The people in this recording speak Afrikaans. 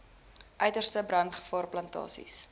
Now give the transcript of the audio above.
uiterste brandgevaar plantasies